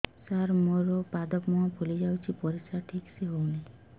ସାର ମୋରୋ ପାଦ ମୁହଁ ଫୁଲିଯାଉଛି ପରିଶ୍ରା ଠିକ ସେ ହଉନି